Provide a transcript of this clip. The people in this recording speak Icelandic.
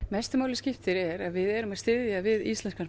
mestu máli skiptir er að við erum að styðja við íslenskan